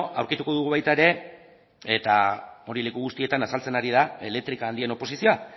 aurkituko dugu baita ere eta hori leku guztietan azaltzen ari da elektrika handien oposizioa